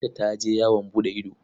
Binta ta je yawon buɗe ido.